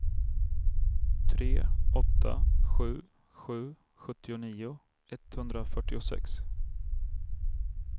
tre åtta sju sju fyrtionio etthundrafyrtiosex